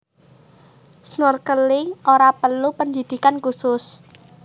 Snorkeling ora perlu pendhidhikan khusus